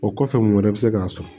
O kɔfɛ mun wɛrɛ bɛ se k'a sɔrɔ